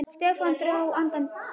Stefán dró djúpt andann.